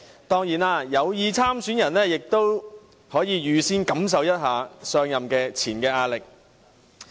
當然，有意參選的人可以預先感受一下上任前的壓力。